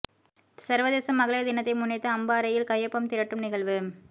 சர்வதேச மகளிர் தினத்தை முன்னிட்டு அம்பாறையில் கையொப்பம் திரட்டும் நிகழ்வு